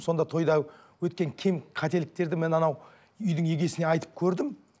сонда тойда өткен кем қателіктерді мен анау үйдің егесіне айтып көрдім